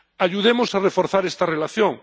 Ayudemos a reforzar esta relación.